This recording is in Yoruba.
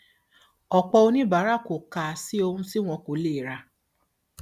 ọpọ oníbàárà kò kà á sí ohun tí wọn kò lè rà